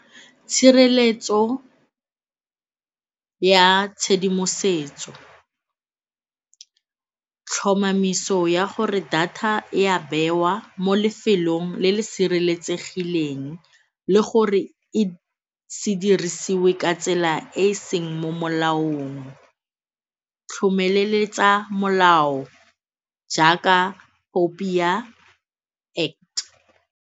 Tshireletso ya tshedimosetso, tlhomamiso ya gore data e a bewa mo lefelong le le sireletsegileng le gore e se dirisiwe ka tsela e e seng mo molaong, tlhomeleletsa molao jaaka POPIA Act.